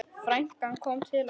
Frænkan kom til okkar.